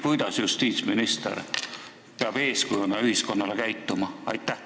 Kuidas peab justiitsminister ühiskonnale eeskuju andjana käituma?